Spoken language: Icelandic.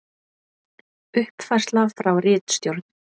Uppfærsla frá ritstjórn: